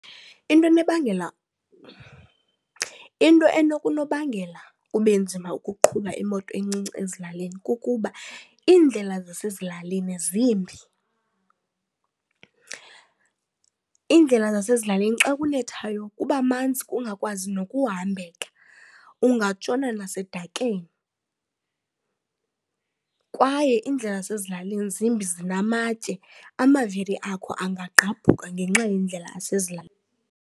Into enokunobangela kube nzima ukuqhuba imoto encinci ezilalini kukuba iindlela zasezilalini zimbi. Iindlela zasezilalini xa kunethayo kuba manzi kungakwazi nokuhambeka ungatshona nasedakeni kwaye iindlela zasezilalini zimbi zinamatye, amavili akho angagqabhuka ngenxa yendlela yasezilalini.